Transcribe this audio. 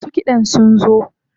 Masu kiɗan sun zo.